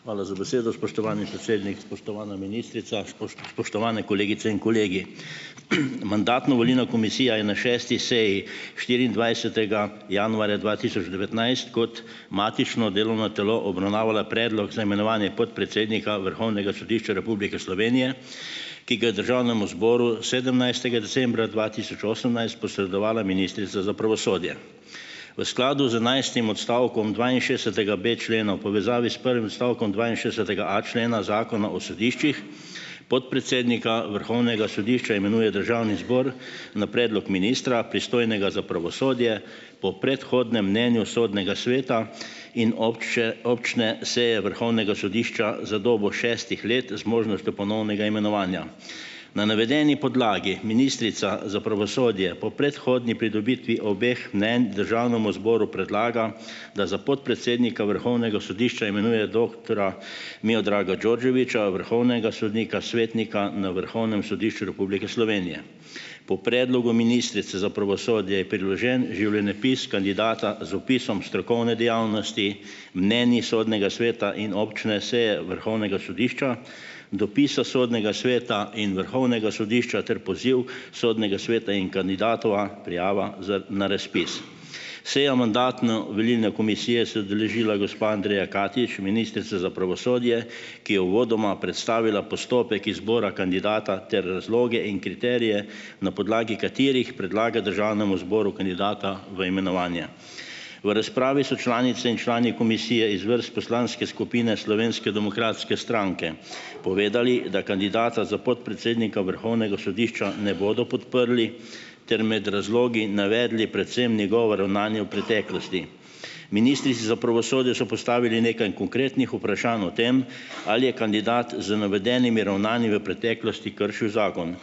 Hvala za besedo, spoštovani predsednik, spoštovana ministrica, spoštovane kolegice in kolegi. Mandatno-volilna komisija je na šesti seji štiriindvajsetega januarja dva tisoč devetnajst kot matično delovno telo obravnavala predlog za imenovanje podpredsednika Vrhovnega sodišča Republike Slovenije, ki ga je državnemu zboru sedemnajstega decembra osemnajst posredovala ministrica za pravosodje. V skladu z enajstim odstavkom dvainšestdesetega B člena v povezavi s prvim odstavkom dvainšestdesetega a člena Zakona o sodiščih, podpredsednika Vrhovnega sodišča imenuje državni zbor na predlog ministra, za pravosodje pristojnega, po predhodnem mnenju Sodnega sveta in obče občne seje Vrhovnega sodišča za dobo šestih let z možnostjo ponovnega imenovanja. Na navedeni podlagi ministrica za pravosodje po predhodni pridobitvi obeh mnenj državnemu zboru predlaga, da za podpredsednika Vrhovnega sodišča imenuje doktorja Miodraga Đorđevića, vrhovnega sodnika svetnika na Vrhovnem sodišču Republike Slovenije. Po predlogu ministrice za pravosodje je priložen življenjepis kandidata z opisom strokovne dejavnosti, mnenji Sodnega sveta in občne seje Vrhovnega sodišča, dopisa Sodnega sveta in Vrhovnega sodišča ter poziv Sodnega sveta in kandidatova prijava za na razpis. Seja mandatno-volilne komisije se je udeležila gospa Andreja Katič, ministrica za pravosodje, ki je uvodoma predstavila postopek izbora kandidata ter razloge in kriterije, na podlagi katerih predlaga državnemu zboru kandidata v imenovanje. V razpravi so članice in člani komisije iz vrst poslanske skupine Slovenske demokratske stranke povedali, da kandidata za podpredsednika Vrhovnega sodišča ne bodo podprli, ter med razlogi navedli predvsem njegovo ravnanje v preteklosti. Ministrici za pravosodje so postavili nekaj konkretnih vprašanj o tem, ali je kandidat z navedenimi ravnanji v preteklosti kršil zakon.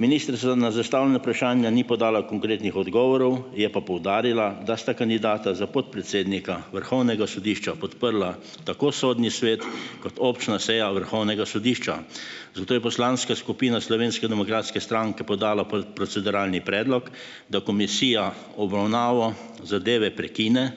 Ministrica na zastavljena vprašanja ni podala konkretnih odgovorov, je pa poudarila, da sta kandidata za podpredsednika Vrhovnega sodišča podprla tako Sodni svet kot občna seja Vrhovnega sodišča. Zato je poslanska skupina Slovenske demokratske stranke podala proceduralni predlog, da komisija obravnavo zadeve prekine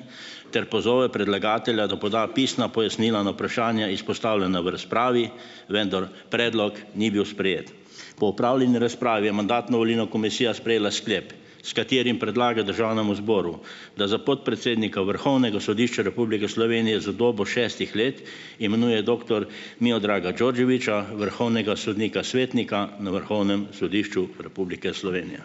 ter pozove predlagatelja, da poda pisna pojasnila na vprašanja, izpostavljena v razpravi, vendar predlog ni bil sprejet. Po opravljeni razpravi je mandatno-volilna komisija sprejela sklep s katerim predlaga državnemu zboru, da za podpredsednika Vrhovnega sodišča Republike Slovenije za dobo šestih let imenuje doktor Miodraga Đorđevića, vrhovnega sodnika svetnika na Vrhovnem sodišču Republike Slovenija.